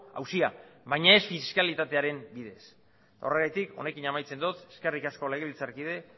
auzia baina ez fiskalitatearen bidez horregatik honekin amaitzen dot eskerrik asko legebiltzarkide